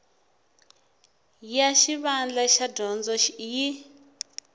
ya xivandla xa dyondzo yi